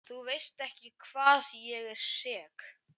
Þú veist ekki hvað ég er sek.